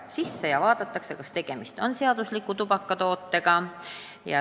Nii selgib, kas tegemist on seadusliku tootega.